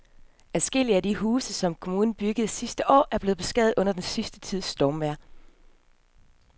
Adskillige af de huse, som kommunen byggede sidste år, er blevet beskadiget under den sidste tids stormvejr.